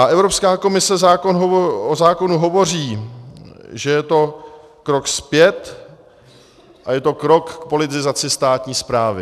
A Evropská komise o zákonu hovoří, že je to krok zpět a je to krok k politizaci státní správy.